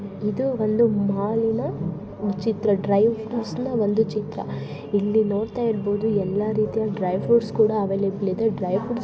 ಇದು ಒಂದು ಮಾಲಿನ ಚಿತ್ರ ಡ್ರೈ ಫ್ರೂಟ್ಸ್ ನ್ ಒಂದು ಚಿತ್ರ ಇಲ್ಲಿ ನೋಡ್ತಾ ಇರ್ಬೋದು ಎಲ್ಲ ರೀತಿಯ ಡ್ರೈ ಫ್ರೂಟ್ಸ್ ಕೂಡಾ ಅವೈಲೆಬಲ್ ಇದೆ. ಡ್ರೈ ಫ್ರೂ--